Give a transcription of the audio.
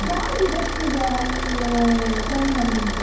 ಯಾವ್ದು dress ಈಗ, ಆ trend ಅಲ್ಲಿ ಉಂಟು?